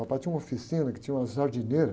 Papai tinha uma oficina que tinha uma jardineira.